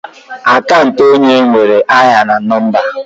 Akant onye nwere aha na nọmba.